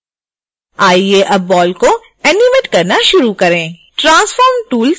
आइए अब बॉल को एनिमेट करना शुरू करें transform tool सेलेक्ट करें